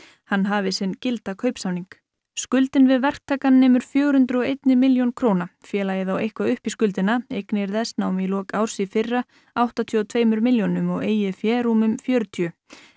hann hafi sinn gilda kaupsamning skuldin við verktakann nemur fjögur hundruð og ein milljón króna Félagið á eitthvað upp í skuldina eignir þess námu í lok árs í fyrra áttatíu og tveim milljónum og eigið fé rúmum fjörutíu